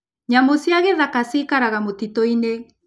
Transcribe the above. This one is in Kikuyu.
Nyamũ cia gĩthaka ciikaraga mĩtitũ-inĩ.